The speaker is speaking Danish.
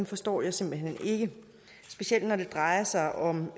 forstår jeg simpelt hen ikke specielt når det drejer sig om